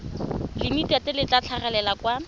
limited le tla tlhagelela kwa